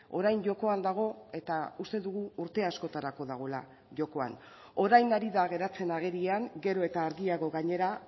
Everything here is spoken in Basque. orain jokoan dago eta uste dugu urte askotarako dagoela jokoan orain ari da geratzen agerian gero eta argiago gainera